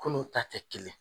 Kunun ta tɛ kelen ye.